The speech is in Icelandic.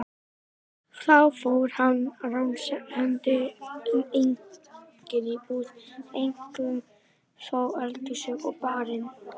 Þá fór hann ránshendi um eigin íbúð, eink- um þó eldhúsið og barinn.